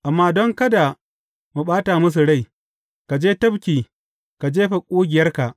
Amma don kada mu ɓata musu rai, ka je tafki ka jefa ƙugiyarka.